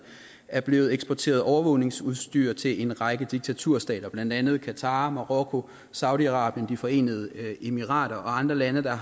er blevet eksporteret overvågningsudstyr til en række diktaturstater blandt andet qatar marokko saudi arabien de forenede arabiske emirater og andre lande der